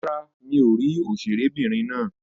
Rárá, mi ò rí òṣèré'bìnrin náà.